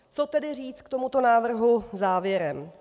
Co tedy říct k tomuto návrhu závěrem?